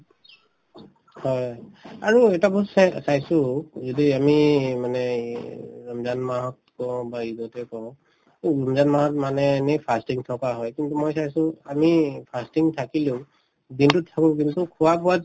হয় আৰু এটা বস্তু চাই চাইছো যদি আমি মানে ৰমজান মাহত কওঁ বা ঈদতে কওঁ উম ৰমজানত মাহত মানে fasting থকা হয় কিন্তু মই চাইছো আমি fasting থাকিলেও দিনতোত চকু দিব চোন খোৱা-বোৱাত